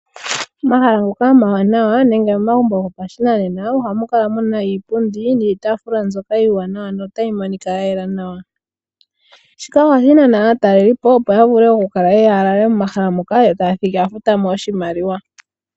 Omahala ngoka omawanawa nenge momagumbo gopashinanena ohamu kala muna iipundi niitaafula mbyoka iiwanawa notayi monika ya yela nawa. Shika ohashi nana aatalelipo opo yavule okukala yeya yalale momahala moka yo taya thigi ya futa mo oshimaliwa.